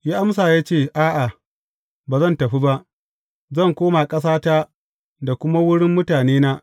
Ya amsa, ya ce A’a, ba zan tafi ba; zan koma ƙasata da kuma wurin mutanena.